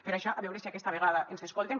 per això a veure si aquesta vegada ens escolten